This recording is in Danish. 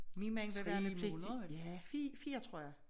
Min mand var værnepligt i ja 4 tror jeg